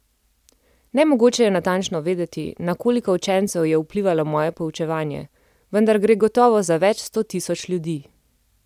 Nemogoče je natančno vedeti, na koliko učencev je vplivalo moje poučevanje, vendar gre gotovo za več sto tisoč ljudi.